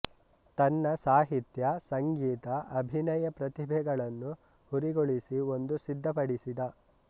ತನ್ನ ಸಾಹಿತ್ಯ ಸಂಗೀತ ಅಭಿನಯ ಪ್ರತಿಭೆಗಳನ್ನು ಹುರಿಗೊಳಿಸಿ ಒಂದು ಸಿದ್ಧಪಡಿಸಿದ